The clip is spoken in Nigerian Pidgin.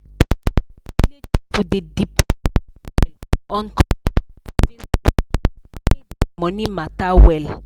plenty village people dey depend well well on community savings group to manage their money matter well.